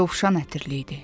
Yovşan ətirli idi.